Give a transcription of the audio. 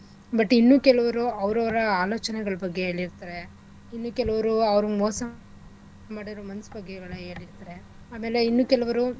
But ಇನ್ನೂ ಕೆಲವ್ರು ಅವ್ರವ್ರ ಆಲೋಚನೆಗಳ್ ಬಗ್ಗೆ ಹೇಳಿರ್ತಾರೆ ಇನ್ನೂ ಕೆಲವ್ರು ಅವ್ರುಗ್ ಮೋಸ ಮಾಡಿರೋ ಮನ್ಸ್ ಬಗ್ಗೆ ಯೊಳ~ ಏಳಿರ್ತರೆ ಆಮೇಲೆ ಇನ್ನೂ ಕೆಲವ್ರು.